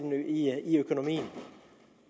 i økonomien